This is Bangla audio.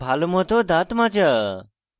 ভালোমত দাঁত মাজা